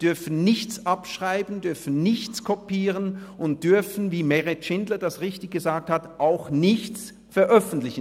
Sie dürfen nichts abschreiben, dürfen nichts kopieren und dürfen, wie Meret Schindler das richtig gesagt hat, auch nichts davon veröffentlichen.